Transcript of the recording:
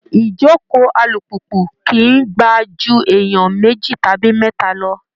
Ijókòó alùpùpù kìí gbà ju èèyàn méjì tàbí mẹ́ta lọ